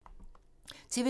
TV 2